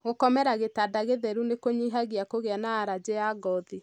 Gũkomera gĩtanda gĩtheru nĩkũnyihagia kũgĩa na alajĩ ya ngothi.